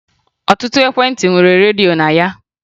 Ọtụtụ ekwentị nwere redio na ya